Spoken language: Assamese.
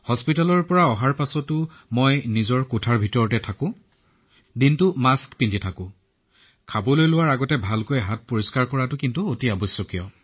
চিকিৎসালয়ৰ পৰা অহাৰ পিছত মই এতিয়া ঘৰতেই আছো মোৰ কোঠালিতেই আছে আৰু দিনৰ অধিকাংশ সময় মাস্ক পিন্ধি থাকো যেতিয়াই খাবলৈ ওলাই তেতিয়া হাত ধুই লও এয়া অতিশয় গুৰুত্বপূৰ্ণ